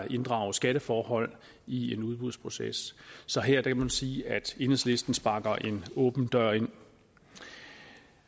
inddrages skatteforhold i en udbudsproces så her kan man sige at enhedslisten sparker en åben dør ind